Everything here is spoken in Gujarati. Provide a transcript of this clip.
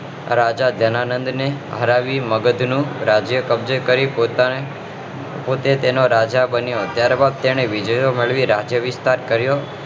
રાજા ધનાનંદ ને હરાવી મગધ દેશ નું રાજ્ય કબજે કરી પોતાને પોતે તેનો રાજા બન્યો ત્યારબાદ તેની વિજય મેળવી રાજ્યાભિષેક કર્યો